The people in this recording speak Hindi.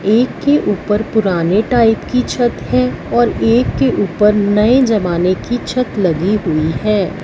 एक के ऊपर पुराने टाइप की छत है और एक के ऊपर नए जमाने की छत लगी हुई है।